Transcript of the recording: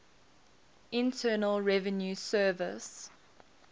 internal revenue service